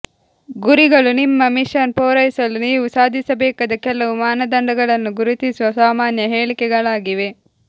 ಗುರಿಗಳು ನಿಮ್ಮ ಮಿಷನ್ ಪೂರೈಸಲು ನೀವು ಸಾಧಿಸಬೇಕಾದ ಕೆಲವು ಮಾನದಂಡಗಳನ್ನು ಗುರುತಿಸುವ ಸಾಮಾನ್ಯ ಹೇಳಿಕೆಗಳಾಗಿವೆ